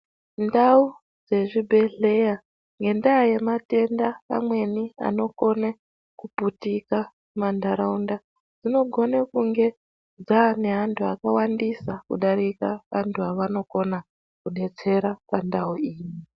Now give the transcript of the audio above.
Ndau dzezvibhedhlera nendaa yematenda amweni anokone kupurika mumandaraunda dzinokone kunge dzaane antu akawandisa kudarika antu aanokona kudetsera pandau iyi.